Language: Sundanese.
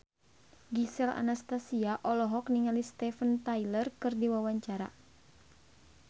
Gisel Anastasia olohok ningali Steven Tyler keur diwawancara